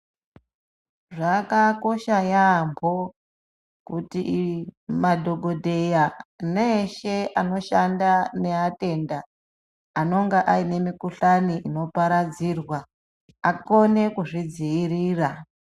Zvakakosha yaamho kuti madhokodheya neeshe anoshanda neatenda anonga aine mikuhlani ino paradzirwa akone kuzvidziirira.